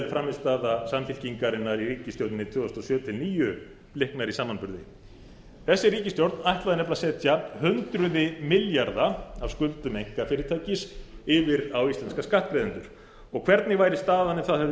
frammistaða samfylkingarinnar í ríkisstjórninni tvö þúsund og sjö til tvö þúsund og níu bliknar í samanburði þessi ríkisstjórn ætlaði nefnilega að setja hundruð milljarða af skuldum einkafyrirtækis yfir á íslenska skattgreiðendur og hvernig væri staðan í dag ef það hefði